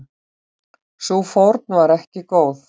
Sú fórn var ekki góð.